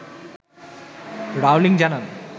Rowling জানান